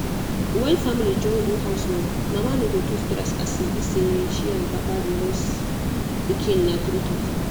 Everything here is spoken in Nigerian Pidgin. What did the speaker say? when family join do house work mama no go too stress as e be say she and papa dey raise pikin na true talk.